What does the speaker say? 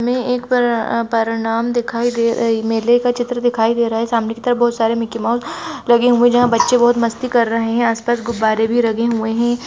इसमें एक पर-- परिणाम दिखाई दे रही मेले का चित्र दिखाई दे रहा सामने की तरफ बहुत सारे मिकी माउस लगे हुए है जहा बच्चे बहुत मस्ती कर रहे है आस पास गुब्बारे भी लगे हुए है।